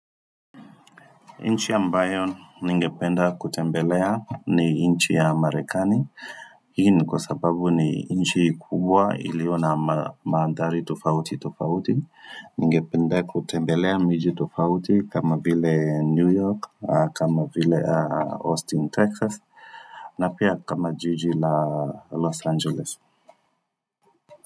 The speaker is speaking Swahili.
Nchi ya ambayo ningependa kutembelea ni nchi ya Marekani, hii kwa sababu ni nchi kubwa iliyo mandhari tofauti tofauti, ningependa kutembelea miji tofauti kama vile New York, kama vile Austin, Texas, na pia kama jiji la Los Angeles.